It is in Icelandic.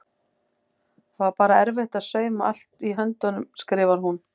Það var bara erfitt að sauma allt í höndunum skrifar hún.